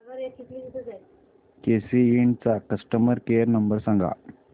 केसी इंड चा customer care number सांग